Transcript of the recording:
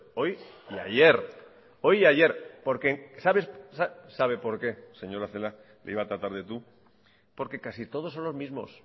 hoy y ayer hoy y ayer por qué sabe por qué señora celaá le iba a tratar de tú porque casi todos son los mismos